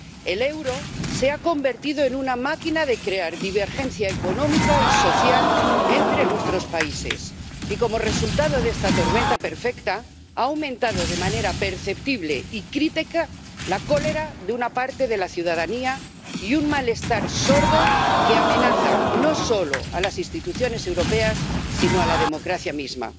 El euro se ha convertido en una máquina de crear divergencia económica y social entre nuestros países y, como resultado de esta tormenta perfecta, ha aumentado de manera perceptible y crítica la cólera de una parte de la ciudadanía y un malestar sordo que amenaza no solo a las instituciones europeas, sino a la democracia misma.